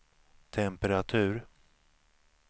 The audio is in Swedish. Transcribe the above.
temperatur